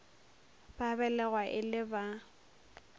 ba belegwa e le ba